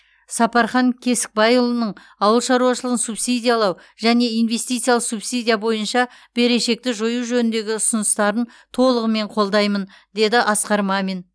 сапархан кесікбайұлының ауыл шаруашылығын субсидиялау және инвестициялық субсидия бойынша берешекті жою жөніндегі ұсыныстарын толығымен қолдаймын деді асқар мамин